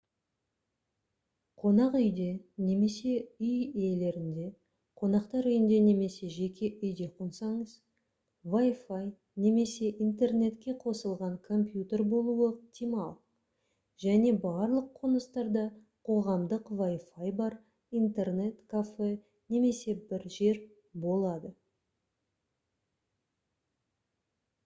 қонақ үйде немесе үй иелерінде қонақтар үйінде немесе жеке үйде қонсаңыз wi-fi немесе интернетке қосылған компьютер болуы ықтимал және барлық қоныстарда қоғамдық wi-fi бар интернет кафе немесе бір жер болады